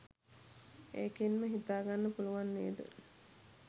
ඒකෙන්ම හිතාගන්න පුළුවන් නේද